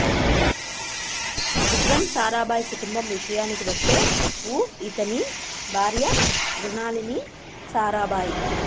విక్రమ్ సారాభాయ్ కుటుంబం విషయానికి వస్తేఉ ఇతని భార్య మృణాలిని సారాభాయ్